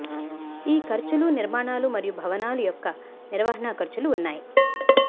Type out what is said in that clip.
ఈ ఖర్చులు నిర్మాణాలు మరియు భవనాలు యొక్క నిర్వహణ ఖర్చులు ఉన్నాయి